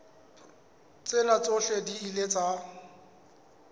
tsena tsohle di ile tsa